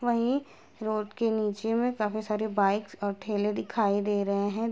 वही रोड के नीचे में काफी सारे बाइक्स और ठेले दिखाई दे रहे हैं।